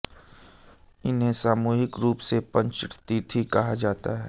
इन्हें सामूहिक रूप से पंचतीर्थी कहा जाता है